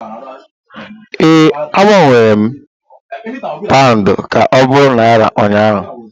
Ee, agbanwere m Paụndụ ka ọ bụrụ Naira ụnyaahụ